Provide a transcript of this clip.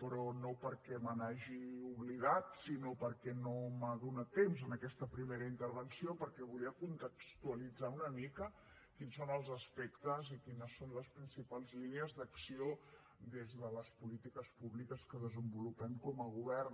però no perquè me n’hagi oblidat sinó perquè no m’ha donat temps en aquesta primera intervenció perquè volia contextualitzar una mica quins són els aspectes i quines són les principals línies d’acció des de les polítiques públiques que desenvolupem com a govern